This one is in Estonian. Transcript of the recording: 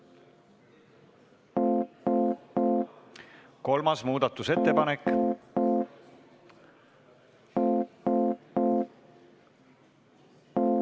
Kolmas muudatusettepanek.